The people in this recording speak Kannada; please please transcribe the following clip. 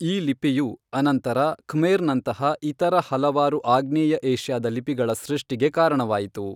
ಈ ಲಿಪಿಯು ಅನಂತರ ಖ್ಮೇರ್ನಂತಹ ಇತರ ಹಲವಾರು ಆಗ್ನೇಯ ಏಷ್ಯಾದ ಲಿಪಿಗಳ ಸೃಷ್ಟಿಗೆ ಕಾರಣವಾಯಿತು.